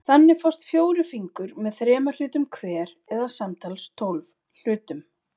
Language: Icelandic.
Þannig fást fjórir fingur með þremur hlutum hver eða samtals tólf hlutum.